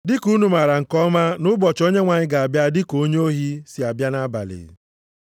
Dị ka unu maara nke ọma na ụbọchị Onyenwe anyị ga-abịa dị ka onye ohi si abịa nʼabalị.